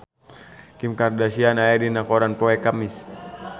Kim Kardashian aya dina koran poe Kemis